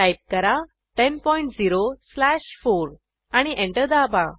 type करा 100 slash 4 आणि enter दाबा